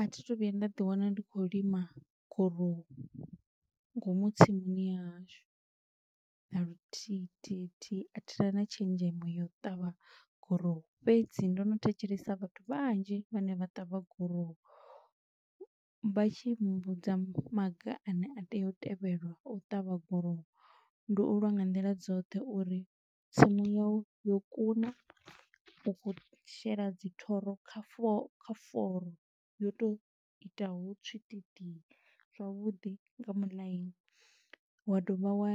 A thi thu vhuya nda ḓi wana ndi khou lima gorowu ngomu tsimuni ya hashu, na luthihi thihi thihi a thi tuvha na tshenzhemo ya u ṱavha gurowu, fhedzi ndo no thetshelesa vhathu vhanzhi vhane vha ṱavha gurowu, vha tshi mmbudza maga ane a tea u tevhelwa u ṱavha gurowu, ndi u lwa nga nḓila dzoṱhe uri tsimu yau yo kuna, u khou shela dzi thoro kha fo kha foro yo to itaho tswitidi zwavhuḓi nga muḽaini, wa dovha wa